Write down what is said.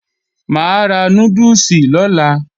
Mà á ra núdùsì lọ́la